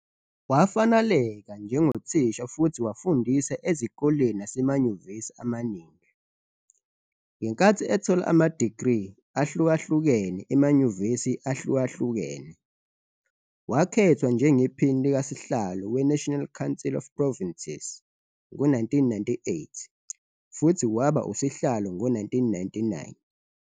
Wafaneleka njengothisha futhi wafundisa ezikoleni nasemanyuvesi amaningi, ngenkathi ethola ama-degree ahlukahlukene emanyuvesi ahlukahlukene. Wakhethwa njengePhini likaSihlalo we-National Council of Provinces ngo-1998 futhi waba usihlalo ngo-1999.